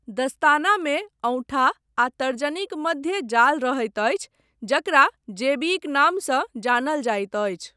दस्तानामे औँठा आ तर्जनीक मध्य जाल रहैत अछि, जकरा 'जेबी' क नामसँ जानल जाइत अछि।